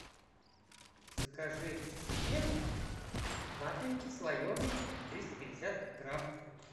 закажи мне вафельки слоеные триста пятьдесят грамм